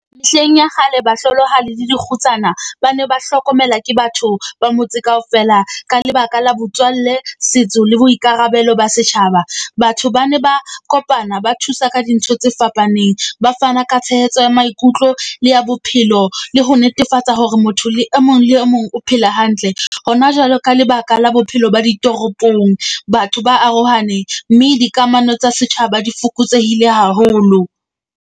Mehleng ya kgale, bahlolohadi le dikgutsana ba ne ba hlokomela ke batho ba motse kaofela. Ka lebaka la botswalle, setso le boikarabelo ba setjhaba. Batho ba ne ba kopana ba thusa ka dintho tse fapaneng. Ba fana ka tshehetso ya maikutlo le ya bophelo le ho netefatsa hore motho le e mong le o mong o phela hantle. Hona jwale ka lebaka la bophelo ba ditoropong, batho ba arohane, mme dikamano tsa setjhaba di fokotsehile haholo.